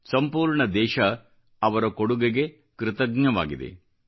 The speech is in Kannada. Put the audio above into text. ಸಂಪೂರ್ಣ ದೇಶ ಅವರ ಕೊಡುಗೆಗೆ ಕೃತಜ್ಞವಾಗಿದೆ